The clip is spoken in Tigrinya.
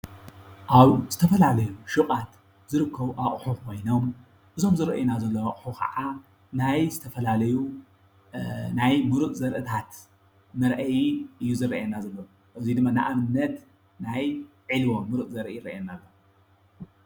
ኣብ ዝተፈላለዩ ሹቓት ዝርከቡ ኣቑሑ ኮይኖም እዞም ዝርአዩና ዘለው ኣቑሑታት ከዕእ ናይ ዝተፈላለዩ ናይ ሙሩፅ ዘርእታት መርአይ እዩ ዝረአየና ዘሎ እዚ ድማ ንኣብነት ናይ ዕልቦ ሙሩፅ ዘርኢ ይረአየና ኣሎ ።